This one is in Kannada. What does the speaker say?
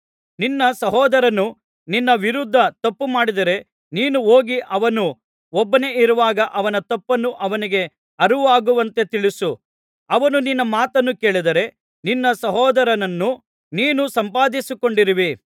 ನಿನ್ನ ಸಹೋದರನು ನಿನ್ನ ವಿರುದ್ಧ ತಪ್ಪು ಮಾಡಿದರೆ ನೀನು ಹೋಗಿ ಅವನು ಒಬ್ಬನೇ ಇರುವಾಗ ಅವನ ತಪ್ಪನ್ನು ಅವನಿಗೆ ಅರಿವಾಗುವಂತೆ ತಿಳಿಸು ಅವನು ನಿನ್ನ ಮಾತನ್ನು ಕೇಳಿದರೆ ನಿನ್ನ ಸಹೋದರನನ್ನು ನೀನು ಸಂಪಾದಿಸಿಕೊಂಡಿರುವಿ